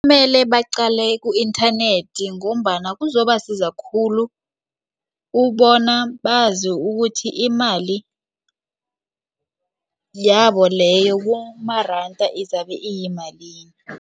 Kumele baqale ku-inthanethi ngombana kuzobasiza khulu ubona bazi ukuthi imali yabo leyo kumaranda izabe iyimalini.